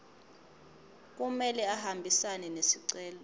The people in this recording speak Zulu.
kumele ahambisane nesicelo